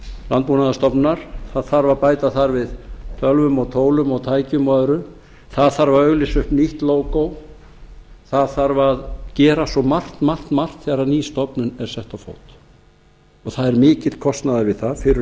landbúnaðarstofnunar það þarf að bæta þar við tölvum og tólum og tækjum og öðru það þarf að auglýsa upp nýtt lógó það þarf að gera svo margt margt margt þegar ný stofnun er sett á fót og það er mikill kostnaður við það fyrir